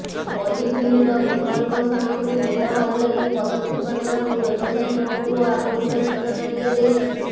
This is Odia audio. ପଲିଥିନ୍ର ବିକଳ୍ପ ସାମଗ୍ରୀ ବ୍ୟବହାର ଲାଗି ପଦକ୍ଷେପ ନେବାକୁ ବ୍ୟବସାୟୀମାନଙ୍କୁ ଆଗତୁରା ସୂଚନା ଦିଆଯାଇଛି